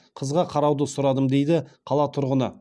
қызға қарауды сұрадым дейді қала тұрғыны